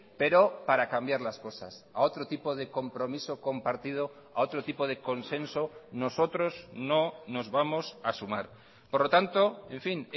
pero para cambiar las cosas a otro tipo de compromiso compartido a otro tipo de consenso nosotros no nos vamos a sumar por lo tanto en fin